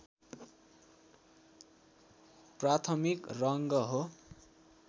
प्राथमिक रङ्ग हो